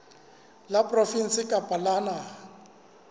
la provinse kapa la naha